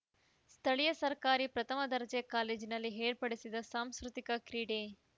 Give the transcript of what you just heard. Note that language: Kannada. ಸ್ಥಳೀಯ ಸರ್ಕಾರಿ ಪ್ರಥಮ ದರ್ಜೆ ಕಾಲೇಜಿನಲ್ಲಿ ಏರ್ಪಡಿಸಿದ್ದ ಸಾಂಸ್ಕೃತಿಕ ಕ್ರೀಡೆ